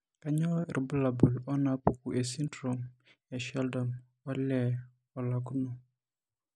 Kainyio irbulabul onaapuku esindirom esheldon olee olakuno?